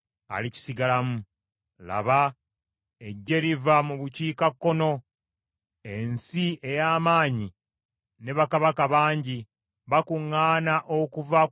“Laba, eggye liva mu bukiikakkono; ensi ey’amaanyi ne bakabaka bangi, bakuŋŋaana okuva ku nkomerero y’ensi.